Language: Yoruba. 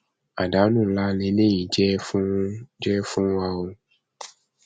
àdánù ńlá lèyí jẹ fún jẹ fún wa o